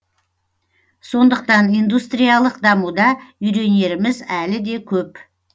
сондықтан индустриялық дамуда үйренеріміз әлі де көп